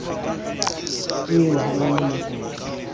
eo ha e na mokoka